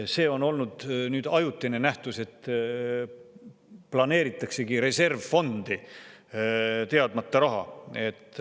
See on olnud nüüd ajutine nähtus, et planeeritaksegi reservfondi teadmata raha.